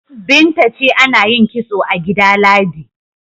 Binta ce ana yin kitso a gida Ladi.